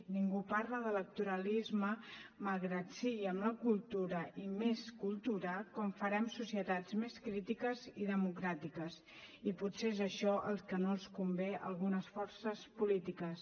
ningú parla d’electoralisme malgrat que sigui amb la cultura i més cultura com farem societats més crítiques i democràtiques i potser és això el que no els convé a algunes forces polítiques